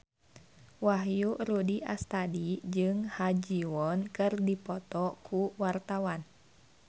Wahyu Rudi Astadi jeung Ha Ji Won keur dipoto ku wartawan